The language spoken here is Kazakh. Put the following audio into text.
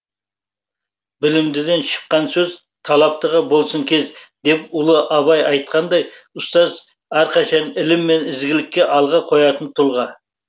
білімдіден шыққан сөз талаптыға болсын кез деп ұлы абай айтқандай ұстаз әрқашан ілім мен ізгілікті алға қоятын тұлға